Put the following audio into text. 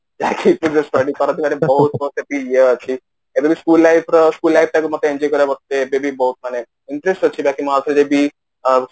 ଏଇ ଅଛି ଏବେ ତ school life ର school life ଟାକୁ ମତେ ଏବେ ବି ବହୁତ୍ ମାନେ interest ଅଛି ବାକି ମୁଁ ଆଉ ଥରେ ଯଦି